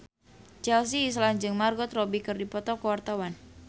Chelsea Islan jeung Margot Robbie keur dipoto ku wartawan